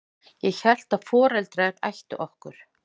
Ég hélt að foreldrar ættu okkur.